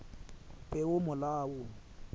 peomolao